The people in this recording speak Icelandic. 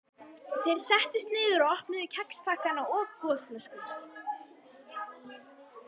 Þeir settust niður og opnuðu kexpakkana og gosflöskurnar.